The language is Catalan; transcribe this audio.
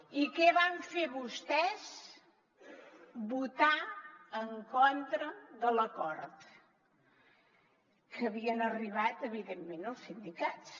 i què van fer vostès votar en contra de l’acord a què havien arribat evidentment els sindicats